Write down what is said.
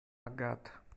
агат